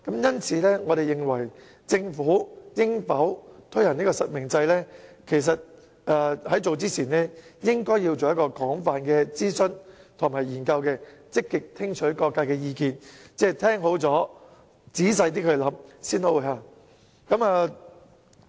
因此，我們認為政府在考慮應否推行實名制之前，應該先進行廣泛諮詢和研究，積極聽取各界意見，聽完意見後仔細考慮，然後才實行。